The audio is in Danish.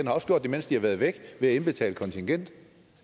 har også gjort det mens de har været væk ved at indbetale kontingent